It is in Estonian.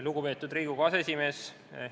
Lugupeetud Riigikogu aseesimees!